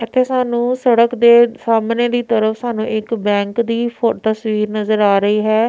ਇੱਥੇ ਸਾਨੂੰ ਸੜਕ ਦੇ ਸਾਹਮਣੇ ਦੀ ਤਰਫ ਸਾਨੂੰ ਇੱਕ ਬੈਂਕ ਦੀ ਫੋ ਤਸਵੀਰ ਨਜ਼ਰ ਆ ਰਹੀ ਹੈ।